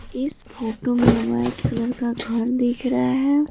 इस फोटो में white colour का घर दिख रहा है।